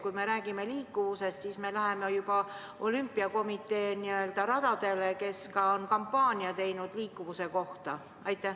Kui me räägime liikuvusest, siis me läheme juba olümpiakomitee radadele, kes on korraldanud ka liikuvuse kampaania.